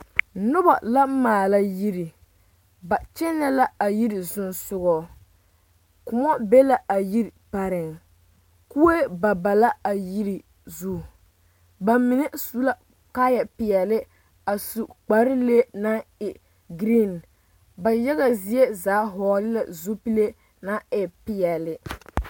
Noba la maala yiri ba kyɛnɛ la a yiri sogaŋ Kóɔ be la a yiri pareŋ kue pa pa la a yiri zu ba mine su la kaayɛ peɛle a su kpar lee naŋ e geree ba yaga zie zaa hɔgele la zupile naŋ e peɛle